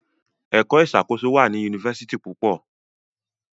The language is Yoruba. Èka ìṣàkóso wá ní Yunifásitì púpọ.